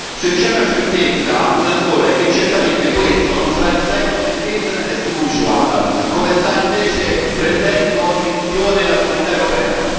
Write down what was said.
Se c'è una certezza, una sola è che certamente questo non sarà il secolo del business as usual come sta invece prendendo per direzione la Comunità europea.